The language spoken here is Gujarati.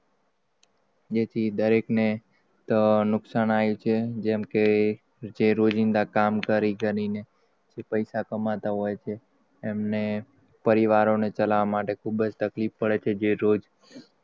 જેથી દરેક ને નુકસાન આયુ છે? જેમ કે જે રોજિંદા કામ કરી કરીને જે પૈસા કમાતા હોય, છે એમને પરિવારોને ચલાવવા માટે ખૂબ જ તકલીફ પડે છે.